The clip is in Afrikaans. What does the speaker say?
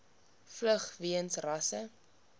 vlug weens rasse